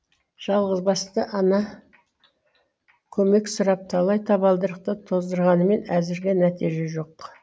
жалғызбасты ана көмек сұрап талай табалдырықты тоздырғанмен әзірге нәтиже жок